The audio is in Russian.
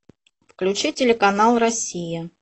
включи телеканал россия